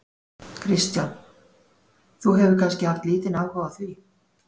Kristján: Þú hefur kannski haft lítinn áhuga á því?